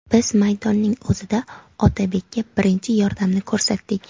Biz maydonning o‘zida Otabekka birinchi yordamni ko‘rsatdik.